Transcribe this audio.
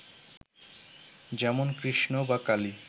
যেমন কৃষ্ণ বা কালী